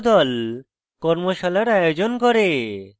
কর্মশালার আয়োজন করে